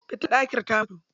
Fitilar ɗakin ta mutu.